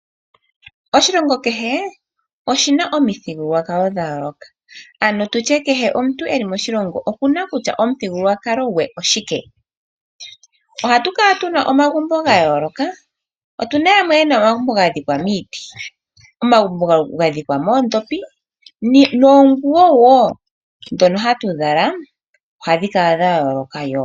Oshilongo kehe oshina omithigululwakalo dha yooloka, ano tutye kehe omuntu eli moshilongo okuna kutya omithigululwakalo gwe oshike. Ohatu kala tuna omagumbo ga yooloka. Opuna yamwe yena omagumbo ga dhikwa miiti, omagumbo ga dhikwa moodhopi noonguwo dhono hatu zala ohadhi kala dha yooloka wo.